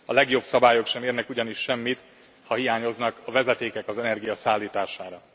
A legjobb szabályok sem érnek ugyanis semmit, ha hiányoznak a vezetékek az energia szállítására.